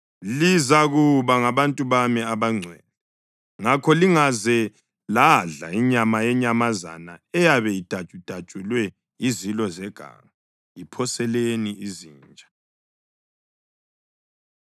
Lizakuba ngabantu bami abangcwele. Ngakho lingaze ladla inyama yenyamazana eyabe idatshudatshulwe yizilo zeganga; iphoseleni izinja.”